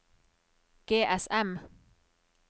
GSM